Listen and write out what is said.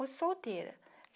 Uma solteira.